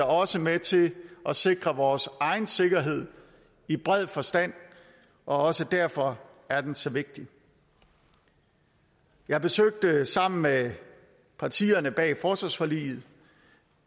også med til at sikre vores egen sikkerhed i bred forstand og også derfor er den så vigtig jeg besøgte sammen med partierne bag forsvarsforliget